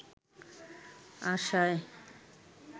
আশায়